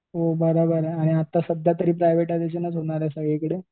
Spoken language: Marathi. हो बरोबर आहे आणि आता सध्या तरी प्रायव्हेटायजेशनच होणार आहे सगळीकडे.